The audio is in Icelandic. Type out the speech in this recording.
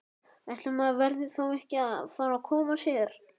Ætli maður verði þá ekki að fara að koma sér!